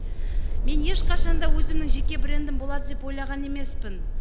мен ешқашан да өзімнің жеке брендім болады деп ойлаған емеспін